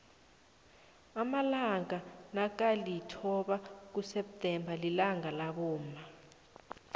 amalanga nakalithoba kuseptemba lilangalabomma